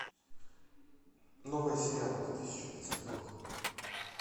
новые сериалы две тысячи двадцатый год